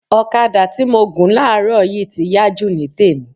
Ọ̀kadà tí mo gùn láàrọ̀ yìí ti yá jù ní tèmi